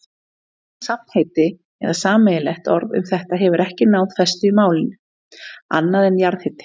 Safnheiti eða sameiginlegt orð um þetta hefur ekki náð festu í málinu, annað en jarðhiti.